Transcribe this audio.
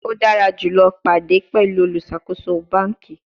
O dara julọ pade pẹlu oluṣakoso banki